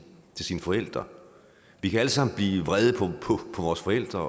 forældre vi kan alle sammen blive vrede på vores forældre